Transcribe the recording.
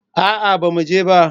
A'a bamu je ba